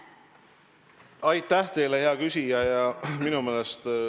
Aitäh teile, hea küsija!